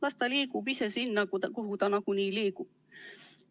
Las ta liigub ise sinna, kuhu ta nagunii liigub.